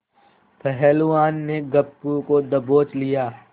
पहलवान ने गप्पू को दबोच लिया